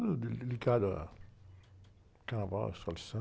ligado a carnaval, escola de samba